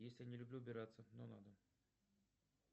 если не люблю убираться но надо